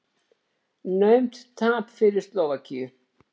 Naumt tap fyrir Slóvakíu